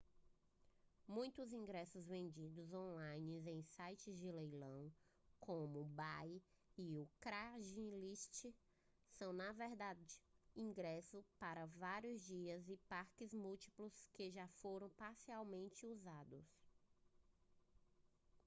muitos ingressos vendidos on-line em sites de leilão como o ebay ou o craigslist são na verdade ingressos para vários dias e parques múltiplos que já foram parcialmente usados